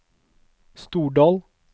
Stordal